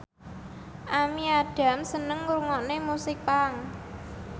Amy Adams seneng ngrungokne musik punk